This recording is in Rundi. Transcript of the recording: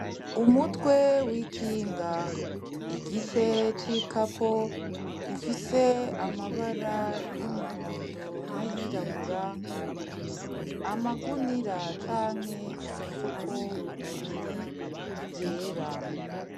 Umutwe w'ikinga, igice cikapo, gifise amabara y'umuhondo nayirabura amagunira canke imifuko ibiri yera